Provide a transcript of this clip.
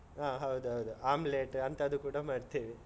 ಹ ಹೌದೌದು. omelette ಅಂತದ್ದು ಕೂಡ ಮಾಡ್ತೇವೆ.